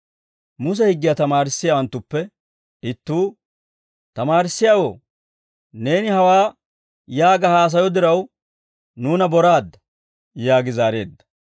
Muse higgiyaa tamaarissiyaawanttuppe ittuu, «Tamaarissiyaawoo, neeni hawaa yaaga haasayo diraw nuuna boraadda» yaagi zaareedda.